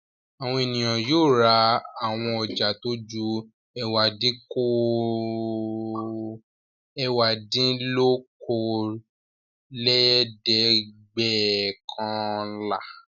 Àwọn ènìyàn yóò ra àwọn ọjà tó ju ẹ̀wádínlókòólẹ́ẹ̀dẹ́gbẹ́ọ̀kànlá.